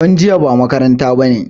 Don jiya ba makaranta